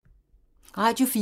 Radio 4